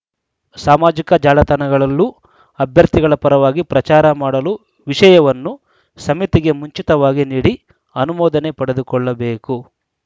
ಸಾಮಾಜಿಕ ಜಾಲತಾಣಗಳಲ್ಲೂ ಅಭ್ಯರ್ಥಿಗಳ ಪರವಾಗಿ ಪ್ರಚಾರ ಮಾಡಲೂ ವಿಷಯವನ್ನು ಸಮಿತಿಗೆ ಮುಂಚಿತವಾಗಿ ನೀಡಿ ಅನುಮೋದನೆ ಪಡೆದುಕೊಳ್ಳಬೇಕು